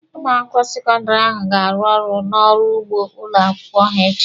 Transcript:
Ụmụ akwụkwọ sekọndịrị ahụ ga-arụ ọrụ n'ọrụ ugbo ụlọ akwụkwọ ha echi.